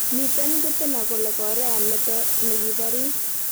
miten pitina kolee Korea meto negipariis